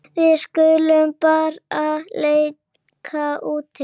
Við skulum bara leika úti.